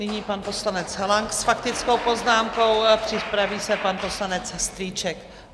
Nyní pan poslanec Lang s faktickou poznámkou, připraví se pan poslanec Strýček.